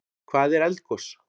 Hvað er eldgos?